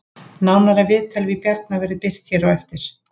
Nánara viðtal við Bjarna verður birt hér á eftir